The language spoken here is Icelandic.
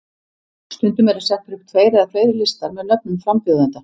Stundum eru settir upp tveir eða fleiri listar með nöfnum frambjóðenda.